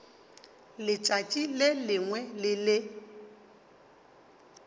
letšatši le lengwe le le